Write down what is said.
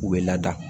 U bɛ lada